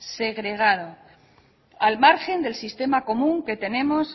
segregado al margen del sistema común que tenemos